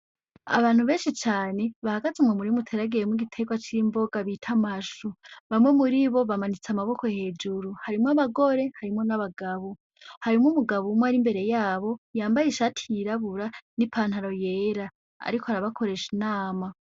Abantu benshi cane bahagaze mu murima uteragiyemwo igitegwa c'imboga bita amashu, bamwe muri bo bamanitse amaboko hejuru, harimwo abagore harimwo n'abagabo, harimwo umugabo umwe ari imbere yabo yambaye ishati yirabura n'ipantaro yera, ariko arabakoresha inama.